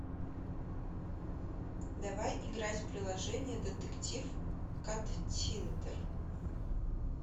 давай играть в приложение детектив каттиндер